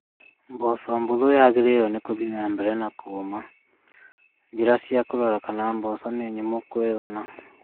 Mboco huthu yagĩrĩirwo gũthiĩ na mbere na kũũma. Njĩra cia kũrora kana mboco nĩ nyũmũ kũigana